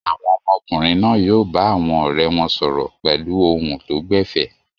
Àwọn ọmọkùnrin náà yóò bá àwọn ọ̀rẹ́ wọn sọ̀rọ̀ pẹ̀lú ohùn tó gbẹ̀fẹ̀.